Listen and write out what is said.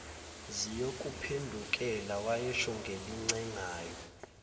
ziyokuphendukela wayesho ngelincengayo